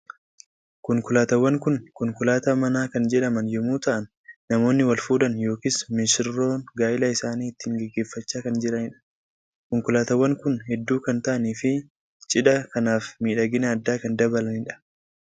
Konkolaataawwan kun konkolaataa manaa kan jedhaman yommuu ta'an namoonni wal fuudhan yookiin misirroon gaa'ila isaanii ittiin gaggeeffachaa kam jiranidha. Konkolaataawwan kun hedduu kan ta'anii fi cidhan kanaaf miidhagina addaa kan dabalanidha.